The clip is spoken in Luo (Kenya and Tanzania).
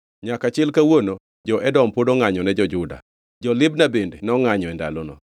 Nyaka chil kawuono jo-Edom pod ongʼanyo ne jo-Juda. Jo-Libna bende nongʼanyo e ndalono.